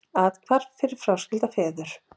Athvarf fyrir fráskilda feður